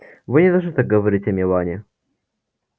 вы не должны так говорить о мелани